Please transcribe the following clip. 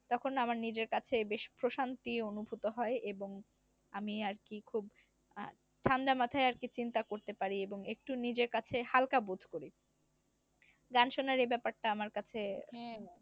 তখন আমার নিজের কাছে বেশ প্রশান্রি অনুভূত হয় এবং আমি আরকি খুব আহ ঠান্ডা মাথায় আরকি চিন্তা করতে পারি এবং একটু নিজের কাছে হালকা বোধ করি, গান শোনার এই ব্যাপার টা আমার কাছে।